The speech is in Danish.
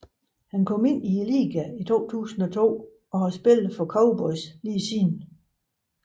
Han kom ind i ligaen i 2003 og har spillet for Cowboys lige siden